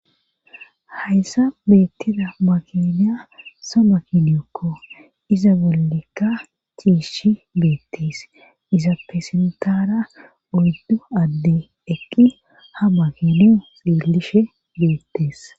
Hayssa beettida makiniya sa makiniokko iza bollekka chiishi beettees iza pesentara oyddu adde eqqi ha makiniyo xielishe beettees.